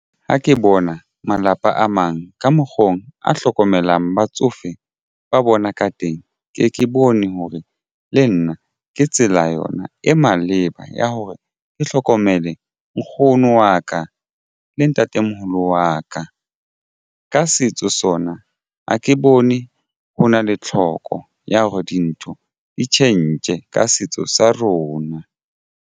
Ha ke bona malapa a mang ka mokgo a hlokomelang batsofe ba bona ka teng. Ke ke bone hore le nna ke tsela yona e maleba ya hore ke hlokomele nkgono wa ka le ntatemoholo wa ka, ka setso sona ha ke bone ho na le tlhoko ya hore dintho di tjhentjhe ka setso sa rona.